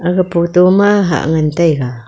aga photo ma hah ngan taiga.